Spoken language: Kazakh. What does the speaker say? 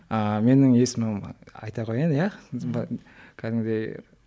ыыы менің есімім айта қояйын иә кәдімгідей